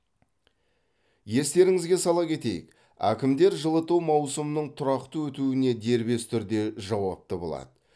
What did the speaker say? естеріңізге сала кетейік әкімдер жылыту маусымының тұрақты өтуіне дербес түрде жауапты болады